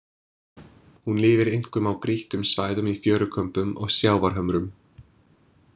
Hún lifir einkum á grýttum svæðum í fjörukömbum og sjávarhömrum.